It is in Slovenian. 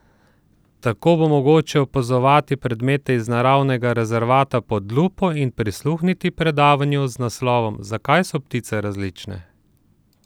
Tako bo mogoče opazovati predmete iz naravnega rezervata pod lupo in prisluhniti predavanju z naslovom Zakaj so ptice različne?